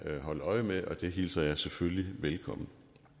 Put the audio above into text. holde øje med og det hilser jeg selvfølgelig velkommen